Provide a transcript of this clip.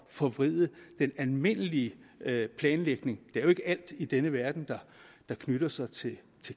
forvride den almindelige planlægning det er jo ikke alt i denne verden der knytter sig til